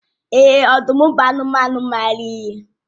Èè, ọdụm bụ anụmanụ maara ihe.